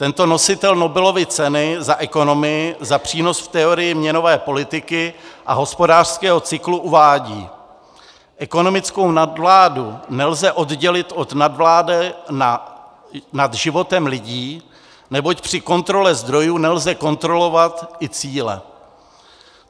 Tento nositel Nobelovy ceny za ekonomii za přínos v teorii měnové politiky a hospodářského cyklu uvádí: Ekonomickou nadvládu nelze oddělit od nadvlády nad životem lidí, neboť při kontrole zdrojů nelze kontrolovat i cíle.